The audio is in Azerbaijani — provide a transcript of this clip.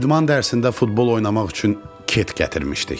İdman dərsində futbol oynamaq üçün ket gətirmişdik.